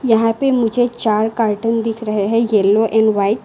यहां पे मुझे चार कर्टेन दिख रहे हैं येलो एंड व्हाइट ।